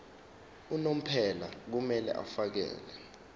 unomphela kumele afakele